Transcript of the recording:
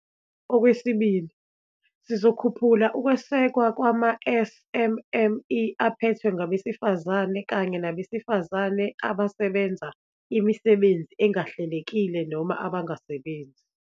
Okwesibili, sizokhuphulaukwesekwa kwama-SMME aphethwe ngabesifazane kanye nabesifazane abasebenza imisebenzi engahlelekile noma abangasebenzi.